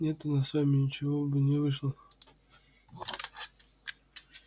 нет у нас с вами ничего бы не вышло